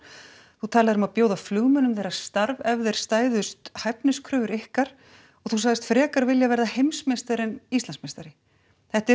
þú talaðir um að bjóða flugmönnum þeirra starf ef þeir stæðust hæfniskröfur ykkar og þú sagðist frekar vilja verða heimsmeistari en Íslandsmeistari þetta eru